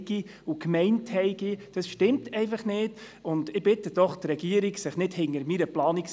Wir befinden uns in der Finanzdebatte, wie Sie unschwer haben erkennen können.